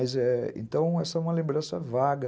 Mas, é... Então, essa é uma lembrança vaga.